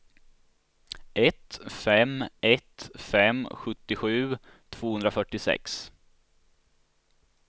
ett fem ett fem sjuttiosju tvåhundrafyrtiosex